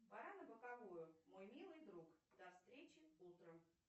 пора на боковую мой милый друг до встречи утром